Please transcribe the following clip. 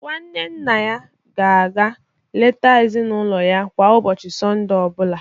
Nwanne nna ya na-aga eleta ezinụlọ ya kwa ụbọchị Sọnde ọ bụla.